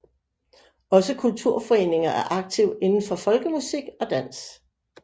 Også kulturforeninger er aktive inden for folkemusik og dans